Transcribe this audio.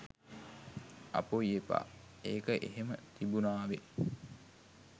"අපොයි එපා! ඒක එහෙම තිබුණාවේ